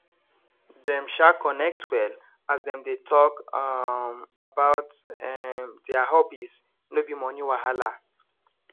dem um connect well as dem dey talk um about um their hobbies no be money wahala